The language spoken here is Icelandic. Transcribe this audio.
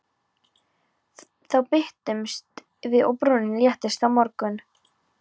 Þá birtumst við og brúnin léttist á mörgum.